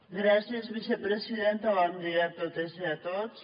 gràcies vicepresidenta bon dia a totes i a tots